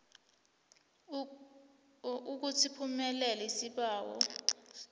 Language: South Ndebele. ukuthi siphumelele isibawo